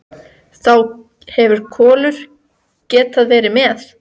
Þá hefði Kolur getað verið með.